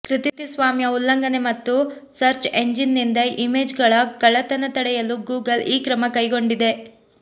ಕೃತಿ ಸ್ವಾಮ್ಯ ಉಲ್ಲಂಘನೆ ಮತ್ತು ಸರ್ಚ್ ಎಂಜಿನ್ ನಿಂದ ಇಮೇಜ್ ಗಳ ಕಳ್ಳತನ ತಡೆಯಲು ಗೂಗಲ್ ಈ ಕ್ರಮ ಕೈಗೊಂಡಿದೆ